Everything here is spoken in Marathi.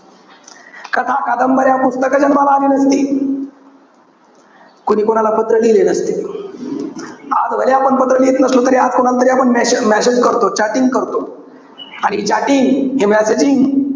कथा, कादंबऱ्या, पुस्तकं जन्माला आली नसती. कोणी कोणाला पात्र लिहिले नसते. आज भलेही आपण पत्र लिहीत नसलो तरी आज कोणाला तरी आपण मे~ message करतो, chatting करतो. आणि हि chatting, हे messaging,